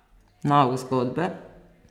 Nauk zgodbe?